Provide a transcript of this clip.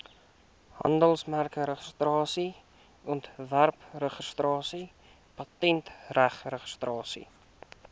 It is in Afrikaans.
handelsmerkregistrasie ontwerpregistrasie patentregistrasie